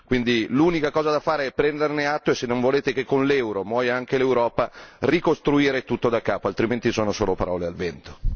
Quindi l'unica cosa da fare è prenderne atto e se non volete che con l'euro muoia anche l'Europa ricostruire tutto daccapo, altrimenti sono solo parole al vento.